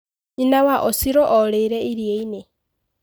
Nyĩna wa Osiro orĩire iria-inĩ.